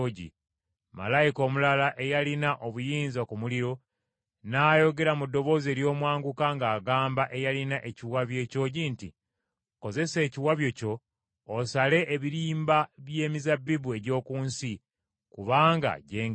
Malayika omulala eyalina obuyinza ku muliro, n’ayogera mu ddoboozi ery’omwanguka ng’agamba eyalina ekiwabyo ekyogi nti, “Kozesa ekiwabyo kyo osale ebirimba by’emizabbibu egy’oku nsi, kubanga gyengedde.”